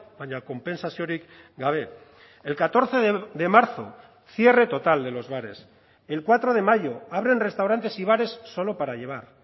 baina konpentsaziorik gabe el catorce de marzo cierre total de los bares el cuatro de mayo abren restaurantes y bares solo para llevar